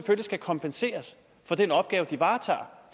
skal kompenseres for den opgave de varetager